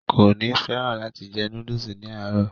kò ní fẹ́ràn láti jẹ núdùsì ní àárọ̀